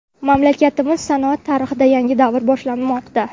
Mamlakatimiz sanoati tarixida yangi davr boshlanmoqda.